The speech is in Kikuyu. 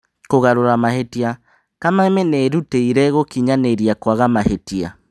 Kũgarũra mahĩtia: Kameme nĩĩrutĩire gũkinyanĩria kwaga mahĩtia.